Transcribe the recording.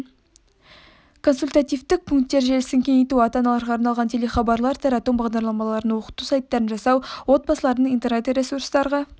консультативтік пункттер желісін кеңейту ата-аналарға арналған телехабарлар тарату бағдарламаларын оқыту сайттарын жасау отбасылардың интернет-ресурстарға